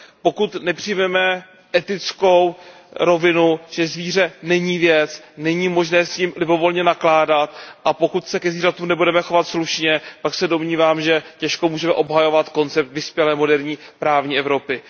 Pokud nepřijmeme etickou rovinu, že zvíře není věc, že není možné s ním libovolně nakládat, a pokud se ke zvířatům nebudeme chovat slušně, pak se domnívám, že těžko můžeme obhajovat koncept vyspělé moderní právní Evropy.